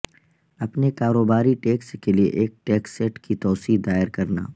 اپنے کاروباری ٹیکس کے لئے ایک ٹیکسٹ کی توسیع دائر کرنا